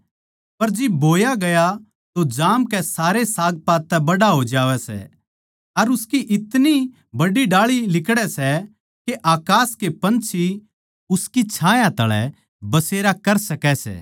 पर जिब बोया गया तो जामकै सारै सागपात तै बड्ड़ा हो जावै सै अर उसकी इतनी बड्डी डाळी लिकड़ै सै के अकास के पंछी उसकी छाह तळै बसेरा कर सकै सै